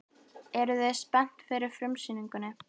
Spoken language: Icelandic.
Eruð þið spenntir fyrir frumsýningunni?